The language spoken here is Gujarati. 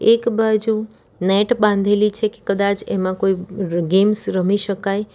એક બાજુ નેટ બાંધેલી છે કે કદાચ એમાં કોઈ ગેમ્સ રમી શકાય.